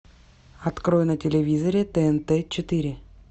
открой на телевизоре тнт четыре